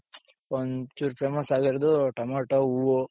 ಒಂಚೂರು famous ಆಗಿರೋದು tomato, ಹೂವು,